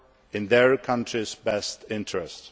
in their country's best interest.